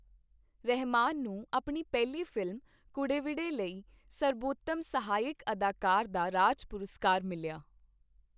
ਰਹਿਮਾਨ ਨੂੰ ਆਪਣੀ ਪਹਿਲੀ ਫ਼ਿਲਮ 'ਕੂਡੇਵਿਡੇ' ਲਈ ਸਰਬੋਤਮ ਸਹਾਇਕ ਅਦਾਕਾਰ ਦਾ ਰਾਜ ਪੁਰਸਕਾਰ ਮਿਲਿਆ।